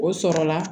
O sɔrɔla